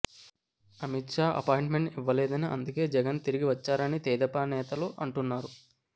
Amit Shah appointment ఇవ్వలేదని అందుకే జగన్ తిరిగి వచ్చారని తెదేపా నేతలు అంటున్నారు